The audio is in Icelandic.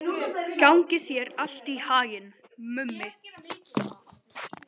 Gangi þér allt í haginn, Mummi.